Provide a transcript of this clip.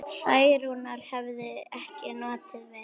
Særúnar hefði ekki notið við.